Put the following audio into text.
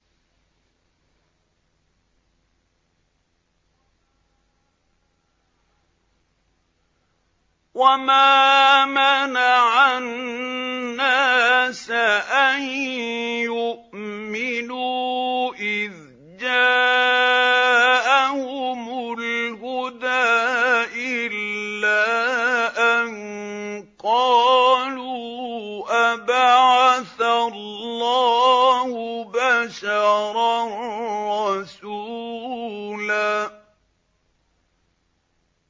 وَمَا مَنَعَ النَّاسَ أَن يُؤْمِنُوا إِذْ جَاءَهُمُ الْهُدَىٰ إِلَّا أَن قَالُوا أَبَعَثَ اللَّهُ بَشَرًا رَّسُولًا